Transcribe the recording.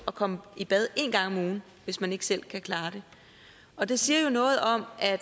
komme i bad én gang om ugen hvis man ikke selv kan klare det og det siger jo noget om at